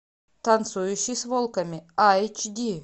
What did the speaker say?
танцующий с волками айч ди